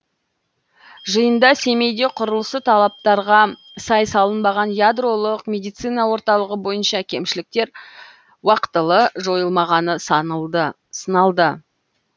жиында семейде құрылысы талаптарға сай салынбаған ядролық медицина орталығы бойынша кемшіліктер уақытылы жойылмағаны сыналды